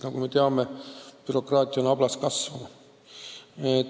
Nagu me teame, bürokraatia on ablas kasvama.